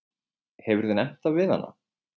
Hefurðu nefnt það við hana?